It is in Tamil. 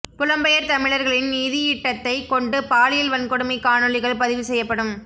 புலம்பெயர் தமிழர்களின் நிதியீட்டத்தைக் கொண்டு பாலியல் வன்கொடுமைக் காணொளிகள் பதிவு செய்யப்படும்